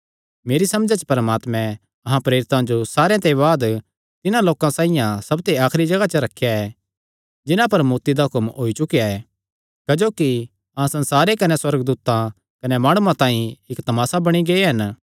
मेरी समझा च परमात्मैं अहां प्रेरितां जो सारेयां दे बाद तिन्हां लोकां साइआं सबते आखरी जगाह च रखेया ऐ जिन्हां पर मौत्ती दा हुक्म होई चुकेया ऐ क्जोकि अहां संसारे कने सुअर्गदूतां कने माणुआं तांई इक्क तमासा बणी गै हन